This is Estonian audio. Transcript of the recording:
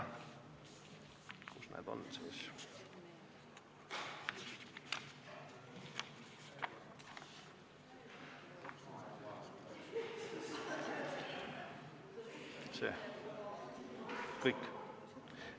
Kus need on siis?